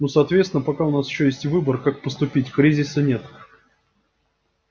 но соответственно пока у нас ещё есть выбор как поступить кризиса нет